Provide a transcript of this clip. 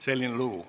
Selline lugu.